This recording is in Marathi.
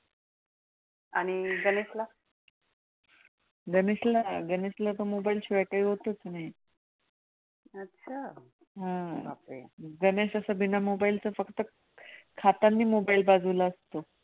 गणेश असं बिना mobile चं फक्त खाताना mobile बाजूला असतो.